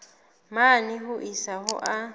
mane ho isa ho a